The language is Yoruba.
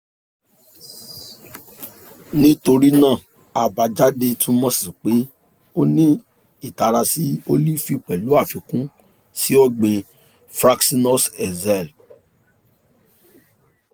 nitorinaa abajade tumọ si pe o ni itara si olifi pẹlu afikun si ọgbin fraxinus excel